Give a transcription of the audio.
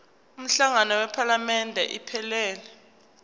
umhlangano wephalamende iphelele